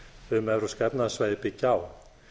um evrópska efnahagssvæðið byggja á